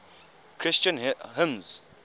christian hymns